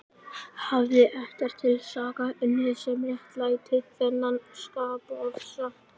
Hafði ekkert til saka unnið sem réttlætti þennan skapofsa.